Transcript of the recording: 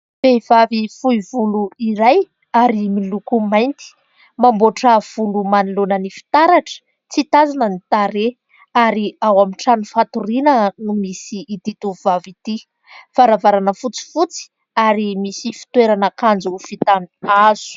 Vehivavy fohy volo iray ary miloko mainty. Mamboatra volo manoloana ny fitaratra, tsy tazana ny tarehy ary ao amin'ny trano fatoriana no misy ity tovovavy ity. Varavarana fotsifotsy ary misy fitoeran'kanjo vita amin'ny hazo.